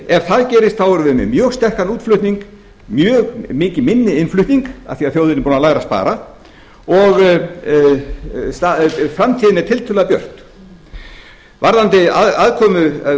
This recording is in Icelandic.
ef það gerist erum við með mjög sterkan útflutning mjög mikið minni innflutning af því að þjóðin er búin að læra að spara og framtíðin er tiltölulega björt varðandi aðkomu